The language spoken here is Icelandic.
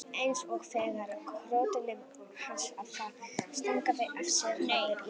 Eins og þegar hrúturinn hans afa stangaði af sér hornið í fyrra.